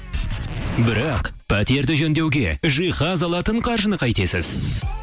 бірақ пәтерді жөндеуге жиһаз алатын қаржыны қайтесіз